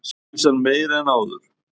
Óvissan meiri en áður